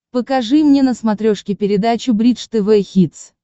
покажи мне на смотрешке передачу бридж тв хитс